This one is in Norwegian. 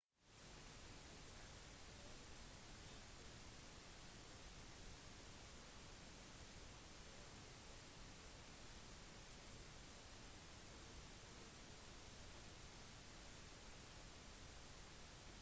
det er et begrenset antall tillatelser som er forbeholdt drop-in-forespørsler basert på «førstemann til mølla»-prinsippet